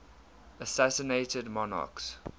assassinated monarchs